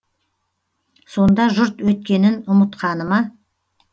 сонда жұрт өткенін ұмытқаны ма